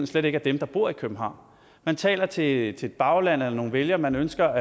slet ikke er dem der bor i københavn man taler til et bagland eller nogle vælgere man ønsker